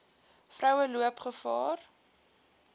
vroue loop gevaar